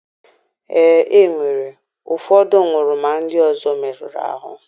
Ee, e nwere. Ụfọdụ nwụrụ ma ndị ọzọ merụrụ ahụ.